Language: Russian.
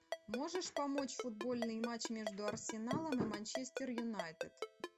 можешь помочь футбольный матч между арсеналом и манчестер юнайтед